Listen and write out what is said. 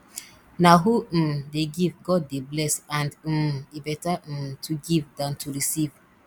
na who um dey give god dey bless and um e beta um to give dan to receive